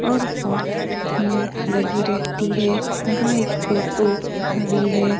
और बोहोत भींड लगी रेहती है यहां एक टोटो खडी है।